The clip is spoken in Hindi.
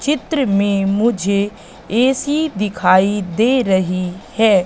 चित्र में मुझे ए_सी दिखाई दे रही है।